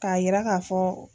K'a yira k'a fɔ.